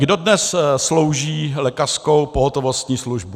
Kdo dnes slouží lékařskou pohotovostní službu?